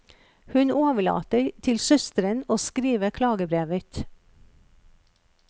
Hun overlater til søsteren å skrive klagebrevet.